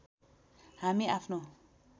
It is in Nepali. हामी आफ्नो